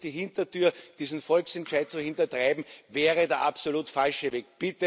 Jetzt hier durch die Hintertür diesen Volksentscheid zu hintertreiben, wäre der absolut falsche Weg.